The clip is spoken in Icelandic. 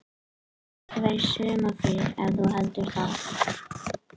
Við erum ekki að fara í sumarfrí ef þú heldur það.